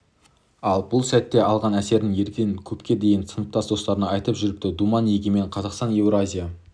ал бұл сәтте алған әсерін ерден көпке дейін сыныптас достарына айтып жүріпті думан егемен қазақстан еуразия